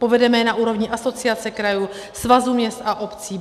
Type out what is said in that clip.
Povedeme je na úrovni Asociace krajů, Svazu měst a obcí.